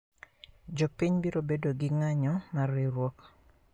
Jopiny biro bedo gi ng`anyo mar riuruok